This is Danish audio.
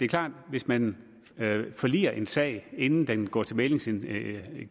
klart at hvis man forliger en sag inden den går til mæglingsinstitutionen